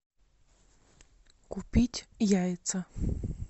купить яйца